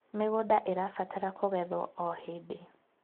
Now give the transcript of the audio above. mĩgũnda irabatara kugethwo o hĩndĩ